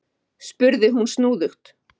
spurði hún snúðugt.